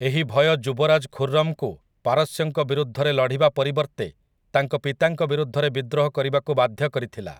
ଏହି ଭୟ ଯୁବରାଜ ଖୁର୍‌ରମ୍‌ଙ୍କୁ ପାରସ୍ୟଙ୍କ ବିରୁଦ୍ଧରେ ଲଢିବା ପରିବର୍ତ୍ତେ ତାଙ୍କ ପିତାଙ୍କ ବିରୁଦ୍ଧରେ ବିଦ୍ରୋହ କରିବାକୁ ବାଧ୍ୟ କରିଥିଲା ।